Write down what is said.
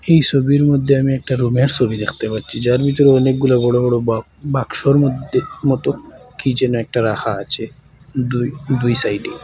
এই সবির মধ্যে আমি একটা রুমের সবি দেখতে পাচ্ছি যার ভিতরে অনেকগুলা বড়ো বড়ো বা বাক্সর মধ্যে মতো কি যেন একটা রাখা আছে দুই দুই সাইডে।